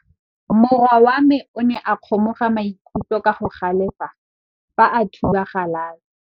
Morwa wa me o ne a kgomoga maikutlo ka go galefa fa a thuba galase.